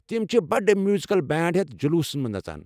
تِم چھِ بڑٕ میوزیکل بینڈ ہیتھ جلوٗسس مَنٛز نژان۔